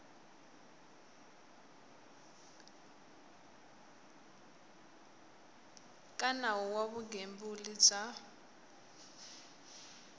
ka nawu wa vugembuli bya